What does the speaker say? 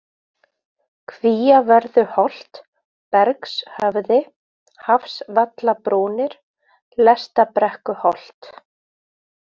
Kvíavörðuholt, Bergshöfði, Hafsvallabrúnir, Lestabrekkuholt